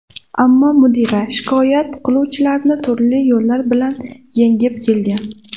Ammo mudira shikoyat qiluvchilarni turli yo‘llar bilan yengib kelgan.